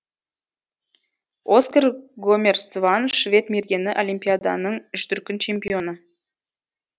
оскар гомер сван швед мергені олимпиаданың үшдүркін чемпионы